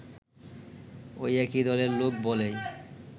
ওই একই দলের লোক বলেই